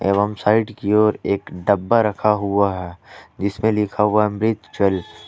एवं साइड की ओर एक डब्बा रखा हुआ है जिसमें लिखा हुआ अमृत जल।